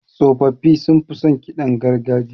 Tsofaffi sunfi son ƙidan gargajiya.